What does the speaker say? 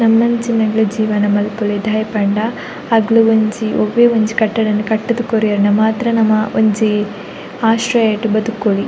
ನಮನಂಚಿನಕ್ಲೆಗ್ ಜೀವನ ಮನ್ಪೊಲಿ ದಾಯೆ ಪಂಡ ಅಕ್ಲೆಗ್ ಒಂಜಿ ಒವೆ ಒಂಜಿ ಕಟ್ಟಡನ್ ಕಟ್ಟುದ್ ಕೊರಿಯೆಂಡ್ರ ಮಾತ್ರ ನಮ ಒಂಜಿ ಆಶ್ರಯಡ್ ಬದುಕೊಲಿ .